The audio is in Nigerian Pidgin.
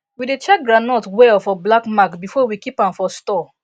we dey check groundnut well for black mark before we keep am for store